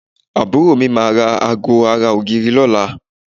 Àbúrò mi máa ra aago ara ògiri lọ́la